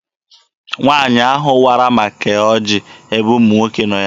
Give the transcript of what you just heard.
Nwaanyị ahụ wara ma kee ọjị ebe ụmụ nwoke nọ ya.